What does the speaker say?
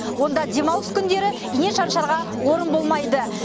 онда демалыс күндері ине шаншарға орын болмайды